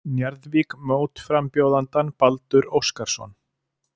Njarðvík mótframbjóðandann Baldur Óskarsson.